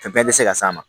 Fɛn bɛɛ tɛ se ka s'a ma